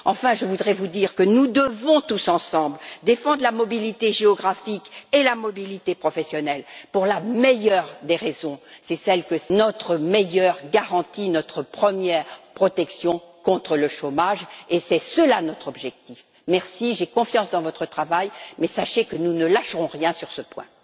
Enfin, je voudrais vous dire que nous devons tous ensemble défendre la mobilité géographique et professionnelle pour la meilleure des raisons c'est notre meilleure garantie, notre première protection contre le chômage et tel est notre objectif. J'ai confiance dans votre travail, mais sachez que nous ne lâcherons rien sur ce point.